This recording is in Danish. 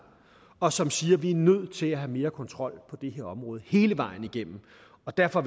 og som siger at vi er nødt til at have mere kontrol på det her område hele vejen igennem og derfor